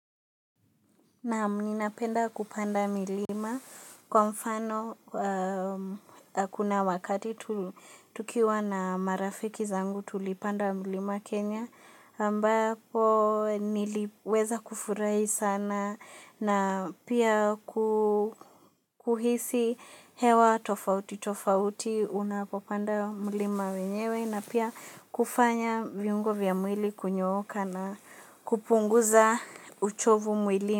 Naam minapenda kupanda milima kwa mfano kuna wakati tukiwa na marafiki zangu tulipanda milima Kenya ambako niliweza kufurai sana na pia kuhisi hewa tofauti tofauti unapopanda milima wenyewe na pia kufanya viungo vya mwili kunyooka na kupunguza uchovu mwilini.